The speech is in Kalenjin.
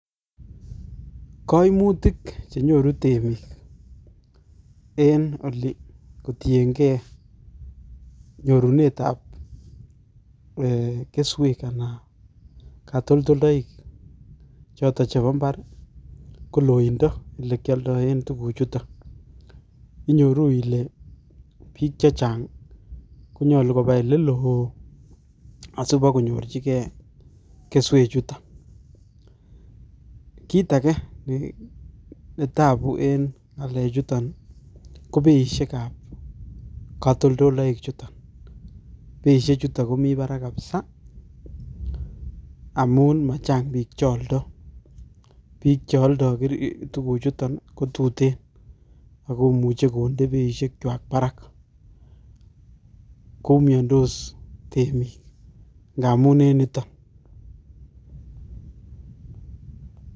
Koimutik chenyoru temik en oli kotiengee, nyorunetab kwesek anan KO kotoltolwek choto chebo mbar ko loindo ele kioldoen tuguk chuton. Inyoru Ile biik chechang konyolu koba oleloo asibakonyorchige keswekchuton. Kitage netabuu KO beishakab katoltoloishiek chuton beishechu komi barak missing amun machang biik che oldoo. biik cheoldo tuguchuton kotuten akomuche konde beishekwak barak koyumyondos temik ngamun en niton